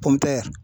Pɔnpɛ